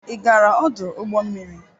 Ị gaara ọdụ ụgbọ mmiri?